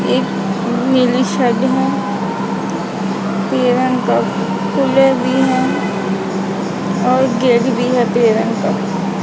एक नीली शेड है पीले रंग का फूले भी है और गेट भी है पीले रंग का।